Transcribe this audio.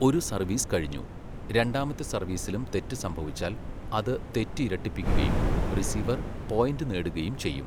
ഒരു സർവീസ് കഴിഞ്ഞു, രണ്ടാമത്തെ സർവ്വീസിലും തെറ്റ് സംഭവിച്ചാൽ അത് തെറ്റ് ഇരട്ടിപ്പിക്കുകയും റിസീവർ, പോയിൻ്റ് നേടുകയും ചെയ്യും.